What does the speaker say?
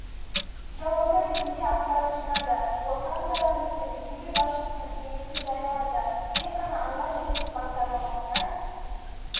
жауабы ретінде ақпарат жинады осыған байланысты мекеме басшысының кеңесін жариялады тек қана алға жүріңіз бағдарламасына